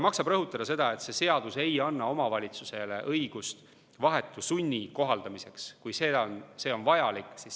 Maksab rõhutada seda, et see seadus ei anna omavalitsusele õigust vahetu sunni kohaldamiseks, kui see on vajalik.